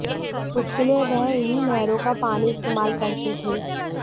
उसके लिए वह इन्हीं नहरों का पानी इस्तेमाल करते थे